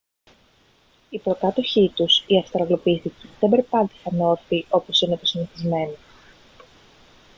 οι προκάτοχοί τους οι αυστραλοπίθηκοι δεν περπάτησαν όρθιοι όπως είναι το συνηθισμένο